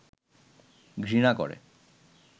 ঘৃণা করে